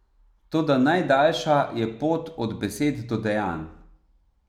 Toda najdaljša je pot od besed do dejanj.